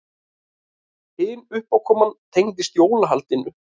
Hin uppákoman tengdist jólahaldinu.